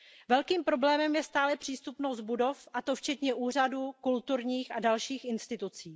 Velkým problémem je stále přístupnost budov, a to včetně úřadů, kulturních a dalších institucí.